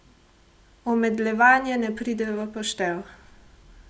Omedlevanje ne pride v poštev.